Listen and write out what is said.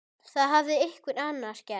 Það hafði einhver annar gert.